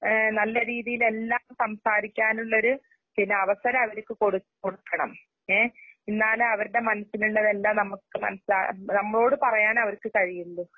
ഏഹ് നല്ലരീതിയിലെല്ലാക്കു സംസാരിക്കാനുള്ളൊരു ചിലഅവസരഅവരിക്ക് കൊടുക് കൊടുക്കണം. ഏ എന്നാലേഅവരുടെമനസ്സിലുള്ളതെല്ലാംനമുക്ക് മനസ്സിലാ നമ്മളോട്പറയാനവർക്ക്കഴിയുള്ളു.